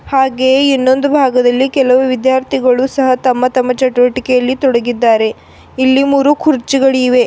ಹಾಗೆ ಇನ್ನೊಂದು ಭಾಗದಲ್ಲಿ ಕೆಲವು ವಿದ್ಯಾರ್ಥಿಗಳು ಸಹ ತಮ್ಮ ತಮ್ಮ ಚಟುವಟಿಕೆಯಲ್ಲಿ ತೊಡಗಿದ್ದಾರೆ ಇಲ್ಲಿ ಮೂರು ಕುರ್ಚಿಗಳಿವೆ.